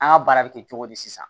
An ka baara bɛ kɛ cogo di sisan